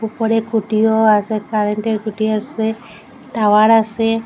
উপরে খুঁটিও আসে কারেন্টের খুঁটি আসে টাওয়ার আসে।